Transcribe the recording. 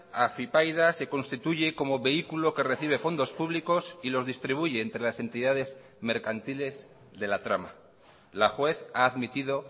afypaida se constituye como vehículo que recibe fondos públicos y los distribuye entre las entidades mercantiles de la trama la juez ha admitido